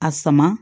A sama